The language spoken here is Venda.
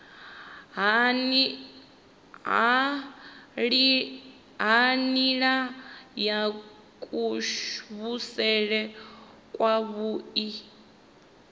ha nila ya kuvhusele kwavhui